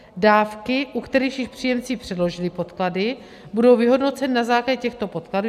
Dávky, u kterých již příjemci předložili podklady, budou vyhodnoceny na základě těchto podkladů.